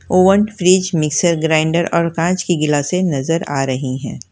Oven fridge mixer grinder और कांच की गिलासें नजर आ रही हैं।